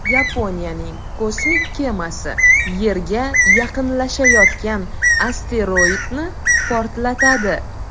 Yaponiyaning kosmik kemasi yerga yaqinlashayotgan asteroidni portlatadi.